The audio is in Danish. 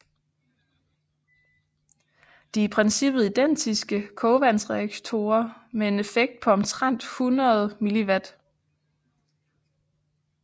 De er i princippet identiske kogvandsreaktorer med en effekt på omtrent 1000 MW